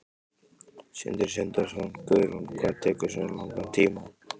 Sindri Sindrason: Guðrún, hvað tekur svona langan tíma?